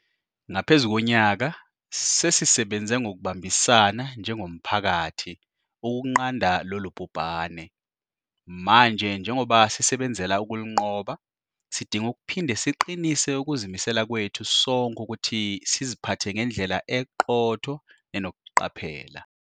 Ngaphezu konyaka, sesisebenze ngokubambisana njengomphakathi ukunqanda lolu bhubhane. Manje njengoba sisebenzela ukulinqoba, sidinga ukuphinde siqinise ukuzimisela kwethu sonke ukuthi siziphathe ngendlela eqotho nenokuqaphela.